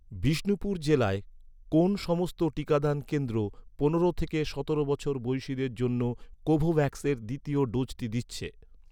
বিষ্ণুপুর জেলায়, কোন সমস্ত টিকাদান কেন্দ্র, পনেরো থেকে সতেরো বছর বয়সিদের জন্য কোভোভ্যাক্সের দ্বিতীয় ডোজটি দিচ্ছে?